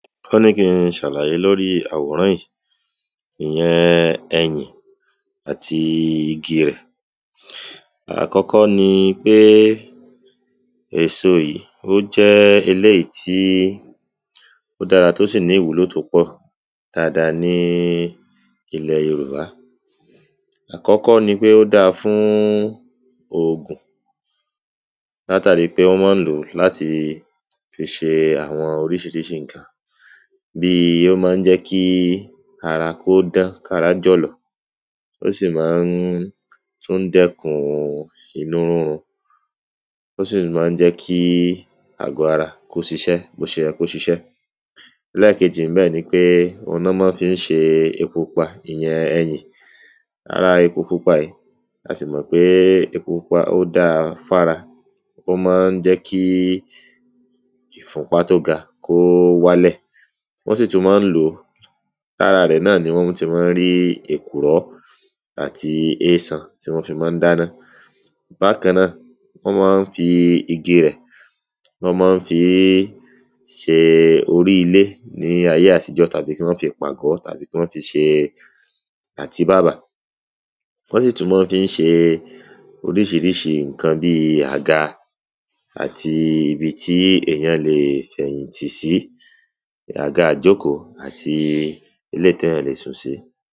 wọ́n ní kin ṣàlàyé lóri àwòrán ìí, ìyẹn ẹyìn àti igi rẹ̀. àkọ́kọ́ ni pé èso yìí ó jẹ́ eléyìí tí ó dára tó sì ní ìwúlò tó pọ̀ dáada ní ilẹ̀ yorùbá. àkọ́kọ́ ni pé ó dáa fún ògùn látàri pé wọ́n mọ́n lò ó láti fi ṣe àwọn oríṣiríṣi ǹkan, bíi ó mán jẹ́ kí ara kó dán kára jọ̀lọ̀, ó sì ma ń tún dẹ́kun inú rúnrun, ó sì ma ń jẹ́ kí àgbọ́ ara kó ṣiṣẹ́ bóṣeyẹ kó ṣiṣẹ́. lẹ́ẹ̀kejì ńbẹ̀ ni pé, òun ná ní wọ́n fií ṣe epo pupa ìyẹn ẹyìn, ara epo pupa ìí, a sì mọ̀ pé epo pupa ó dáa fára, ó mọ́n jẹ́ kí ìfunpá tó ga kó wálẹ̀. wọ́n sì tún mọ ń lò ó, lára rẹ̀ náà ni wọ́n ti mọ ń rí èkùrọ́ àti ésan tí wọ́n fi mọ ń dáná. bákan náà, wọ́n mọ ń fi igi rẹ̀, wọ́n mọ ń fií ṣe orí ilé ní ayé àtijọ́, tàbí kí wọ́n fi pàgọ́, tàbí kí wọ́n fi ṣe àtíbàbà. wọ́n sì tún mọ ń fií ṣe oríṣiríṣi ǹkan bíi; àga àti ibi tí èyán leè fi ẹ̀yìn tì sí, àga ìjókòó àti eléyìí téyàn le sùn sí.